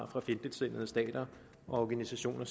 for fjendtligsindede stater og organisationer